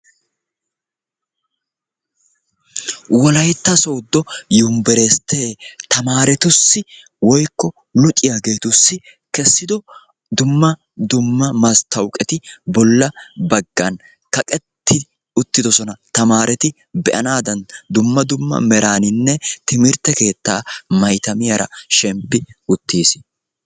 Wolaytta sooddo yunbberesttee tamaaretussi woykko uxiyageetussi kessido dumma dumma masttaawuqeti bolla baggan kaqetti uttidosona. Tamaareti be'anaadan dumma meraaninne timirtte keettaa maytemiyara shemppi uttiis.